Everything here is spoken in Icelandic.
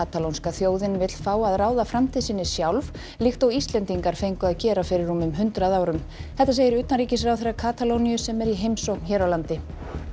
katalónska þjóðin vill fá að ráða framtíð sinni sjálf líkt og Íslendingar fengu að gera fyrir rúmum hundrað árum þetta segir utanríkisráðherra Katalóníu sem er í heimsókn hér á landi